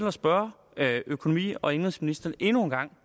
at spørge økonomi og indenrigsministeren endnu en gang